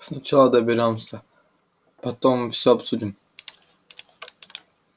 сначала доберёмся потом всё обсудим